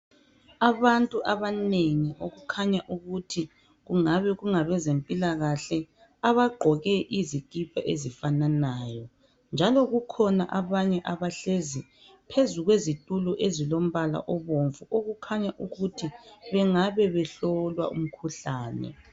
Abantu abanengi okukhanya ukuthi kungabe kunga bezempilakahle, abagqoke izikipa ezifananayo njalo kukhona abanye abahlezi phezu kwezitulo ezilombala obomvu okukhanya ukuthi bangabe behlolwa umkhuhlane.